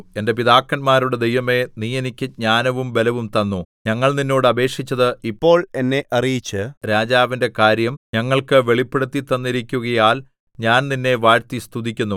എന്റെ പിതാക്കന്മാരുടെ ദൈവമേ നീ എനിക്ക് ജ്ഞാനവും ബലവും തന്നു ഞങ്ങൾ നിന്നോട് അപേക്ഷിച്ചത് ഇപ്പോൾ എന്നെ അറിയിച്ച് രാജാവിന്റെ കാര്യം ഞങ്ങൾക്ക് വെളിപ്പെടുത്തിത്തന്നിരിക്കുകയാൽ ഞാൻ നിന്നെ വാഴ്ത്തിസ്തുതിക്കുന്നു